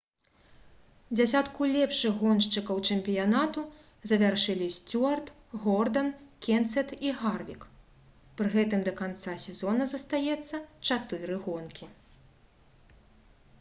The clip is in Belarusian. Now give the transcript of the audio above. дзесятку лепшых гоншчыкаў чэмпіянату завяршылі сцюарт гордан кенсет і гарвік пры гэтым да канца сезона застаецца чатыры гонкі